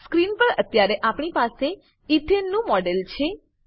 screen પર અત્યારે આપણી પાસે એથને નું મોડેલ છે